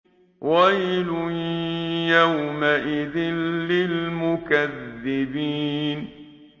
وَيْلٌ يَوْمَئِذٍ لِّلْمُكَذِّبِينَ